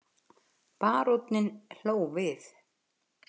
Baróninn hló við.